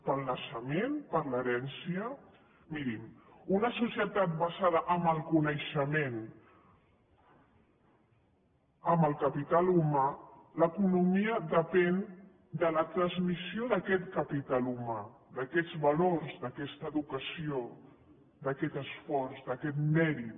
pel naixement per l’herència mirin en una societat basada en el coneixement en el capital humà l’economia depèn de la transmissió d’aquest capital humà d’aquests valors d’aquesta educació d’aquest esforç d’aquest mèrit